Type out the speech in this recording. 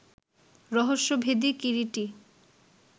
রহস্যভেদী - Kiriti